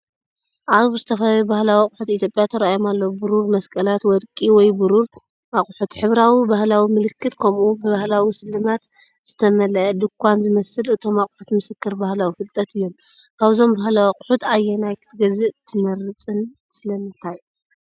ኣብዚ ዝተፈላለዩ ባህላዊ ኣቑሑት ኢትዮጵያ ተራእዮም ኣለዉ። ብሩር መስቀላት፡ ወርቂ ወይ ብሩር ኣቑሑት፡ ሕብራዊ ባህላዊ ምልክት፡ ከምኡ’ውን ብባህላዊ ስልማት ዝተመልአ ድኳን ዝመስል። እቶም ኣቑሑት ምስክር ባህላዊ ፍልጠት እዮም። ካብዞም ባህላዊ ኣቑሑት ኣየናይ ክትገዝእ ትመርጽን ስለምንታይ?